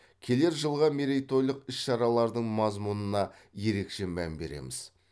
келер жылғы мерейтойлық іс шаралардың мазмұнына ерекше мән береміз